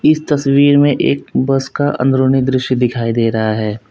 इस तस्वीर में एक बस का अंदरूनी दृश्य दिखाई दे रहा है।